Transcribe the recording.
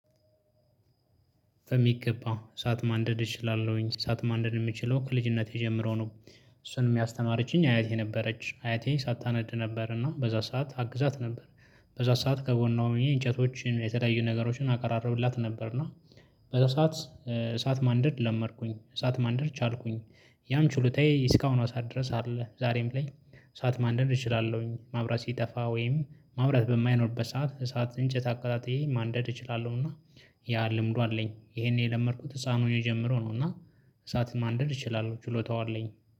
በሚገባ እሳት ማንደድ እችላለሁኝ። እሳት ማንደድ የምችለው ከልጅነቴ ጀምሮ ነው እሱንም የሚያስተማርችኝ አያቴ ነበረች አያቴ እሳት ታነድ ነበርና በዛ ሰዓት አግዛት ነበር። በዛ ሰዓት ከጎን ነው እንጨቶችን የተለያዩ ነገሮችን አቀራረብላት ነበር እና በዛ ሰዓት እሳት ማንደድ ለመርኩኝ፣ እሳት ማንደር ቻልኩኝ፣ ያም ችሎታዬ እስካሁኗ ሰዓት ድረስ አለ ዛሬም ላይ እሳት ማንደር እችላለሁኝ ማብራት ሲጠፋ ወይም ማብራት በማይኖርበት ሰዓት እሳት እንጨት አቀጣጥዬ ማንደድ እችላለሁ እና ያ ልምዱ አለኝ ይሄን የለመድኩት ህፃን ሆኜ ጀምሮ ነው እና እሳት ማንደድ እችላለሁ ችሎታው አለኝ።